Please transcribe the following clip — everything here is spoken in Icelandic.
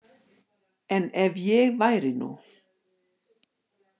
En ef ég væri nú.